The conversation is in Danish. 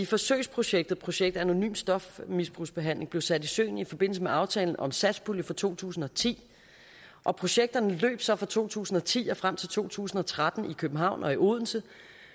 forsøgsprojektet projekt anonym stofmisbrugsbehandling blev sat i søen i forbindelse med aftalen om satspulje for to tusind og ti og projekterne løb så fra to tusind og ti og frem til to tusind og tretten i københavn og i odense